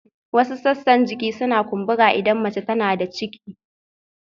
Wasu sassan jiki suna kumbura idan mace tana da ciki